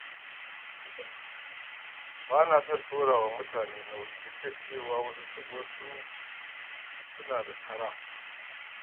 Ba na son ɗora wa mutane nauyi duk da cewa wasu suna da kara.